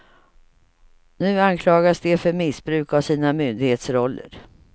Nu anklagas de för missbruk av sina myndighetsroller.